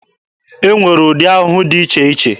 E nwere ụdị ahụhụ dị iche iche.